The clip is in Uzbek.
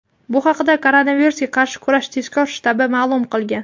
Bu haqda Koronavirusga qarshi kurash tezkor shtabi ma’lum qilgan.